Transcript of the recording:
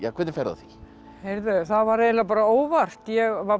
hvernig ferðu að því heyrðu það var eiginlega óvart ég var